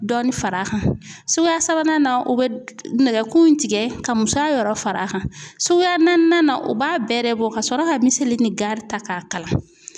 Dɔɔnin far'a kan suguya sabanan o bɛ nɛgɛkun tigɛ ka musoya yɔrɔ far'a kan suyaan o b'a bɛrɛ bɔ ka sɔrɔ ka miseli ni ganri ta k'a kala.